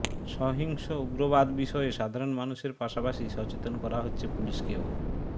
সহিংস উগ্রবাদ বিষয়ে সাধারণ মানুষের পাশাপাশি সচেতন করা হচ্ছে পুলিশকেও